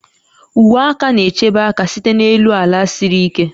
Uwe aka na-echebe aka site n'elu ala siri ike